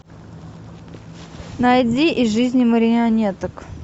найди из жизни марионеток